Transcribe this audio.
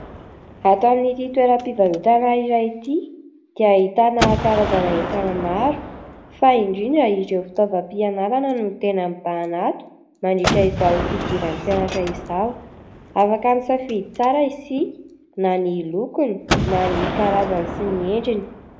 Ato amin'ity toeram-pivarotana iray ity dia ahitana karazana entana maro fa indrindra ireo fitaovam-pianarana no tena mibahana ato mandritra izao fidiran'ny mpianatra izao afaka misafidy tsara isika na ny lokony na ny karazany sy ny endriny